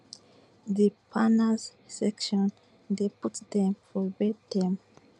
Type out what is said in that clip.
di parners section dey put dem for wia dem